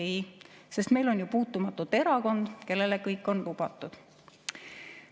Ei, sest meil on ju puutumatute erakond, kellele on kõik lubatud.